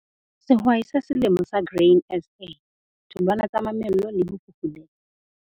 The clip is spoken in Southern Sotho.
Sehwai sa Selemo sa Grain SA - tholwana tsa mamello le ho fufulelwa